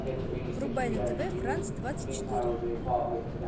врубай на тв франс двадцать четыре